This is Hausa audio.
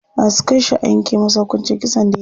Za su kai shi a yanke masa hukuncin kisan da yayi.